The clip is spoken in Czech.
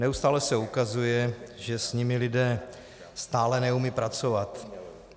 Neustále se ukazuje, že s nimi lidé stále neumějí pracovat.